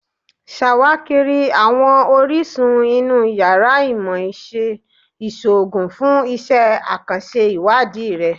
Ṣawakiri awọn orisun inu yàrá Imọ-iṣe Iṣoogun fun iṣẹ akanṣe iwadii rẹ